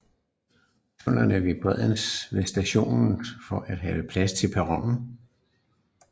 Tunnelerne var bredere ved stationerne for at have plads til perroner